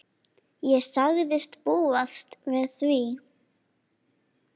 Ég sagðist búast við því.